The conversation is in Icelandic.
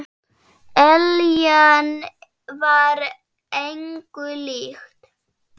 Eljan var engu lík.